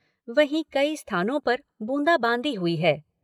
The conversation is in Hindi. वहीं कई स्थानों पर बूंदाबांदी हुई है।